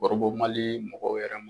Orobo Mali mɔgɔw wɛrɛ ma